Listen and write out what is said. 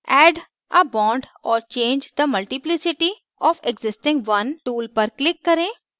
add a bond or change the multiplicity of existing one tool पर click करें